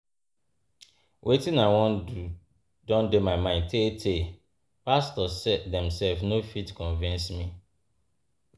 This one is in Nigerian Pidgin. Wetin I wan do don dey my mind tee tee, pastor sef dem sef no fit convince me.